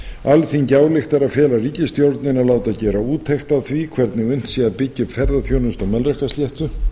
alþingi ályktar að fela ríkisstjórninni að láta gera úttekt á því hvernig unnt sé að byggja upp ferðaþjónustu á melrakkasléttu